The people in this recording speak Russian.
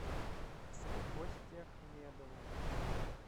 косте ахмедову